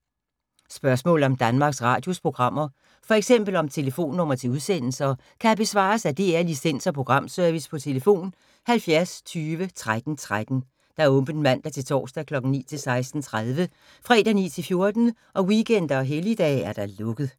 Spørgsmål om Danmarks Radios programmer, f.eks. om telefonnumre til udsendelser, kan besvares af DR Licens- og Programservice: tlf. 70 20 13 13, åbent mandag-torsdag 9.00-16.30, fredag 9.00-14.00, weekender og helligdage: lukket.